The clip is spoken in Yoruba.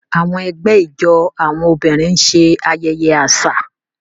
Àwọn ẹgbẹ́ ijó àwọn obìnrin ń ṣe ayẹyẹ àṣà.